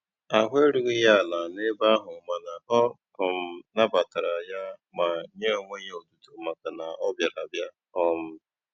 Ahụ erughị ya ala n'ebe ahụ mana ọ um nabatara ya ma nye onwe ya otuto maka na ọ bịara abịa. um